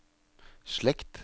slekt